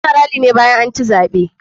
Ana rally ne bayan anci zaɓe.